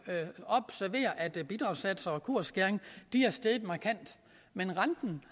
observere at bidragssatser og kursskæring er steget markant men renten